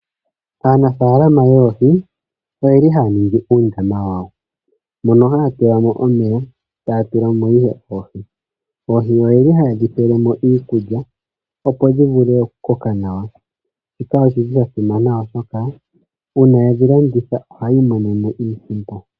Aanafalama yoohi oyeli haya ningi uundama wawo, mono haya tulamo omeya, taya tulamo ihe oohi. Oohi oyeli haye dhi pelemo iikulya opo dhi vule okukoka nawa. Shika oshi li sha simana oshoka uuma ye dhi landitha ohaya imonenemo iisimpo.